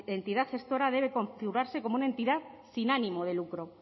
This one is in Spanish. entidad gestora debe configurarse como una entidad sin ánimo de lucro